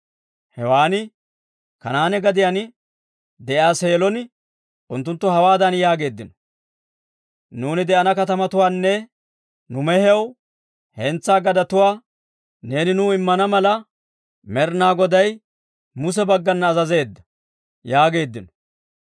Hewan Kanaane gadiyaan de'iyaa Seelon unttunttu hawaadan yaageeddino; «Nuuni de'ana katamatuwaanne nu mehiyaw hentsaa gadetuwaa neeni nuu immana mala Med'ina Goday Muse baggana azazeedda» yaageeddino.